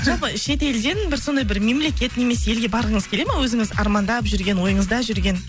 жалпы шет елден бір сондай бір мемлекет немесе елге барғыңыз келе ма өзіңіз армандап жүрген ойыңызда жүрген